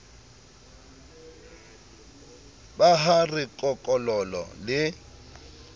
ba ha re kokololo le